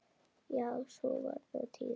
Já sú var nú tíðin.